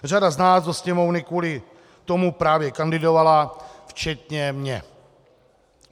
Řada z nás do Sněmovny kvůli tomu právě kandidovala, včetně mě.